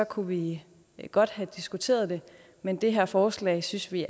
kunne vi godt have diskuteret det men det her forslag synes vi